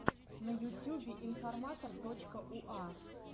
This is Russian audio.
на ютюбе информатор точка уа